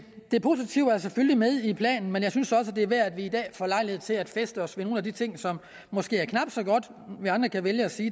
det positive er selvfølgelig med i planen men jeg synes også det er værd i dag at få lejlighed til at fæste os ved nogle af de ting som måske er knap så gode vi andre kan vælge at sige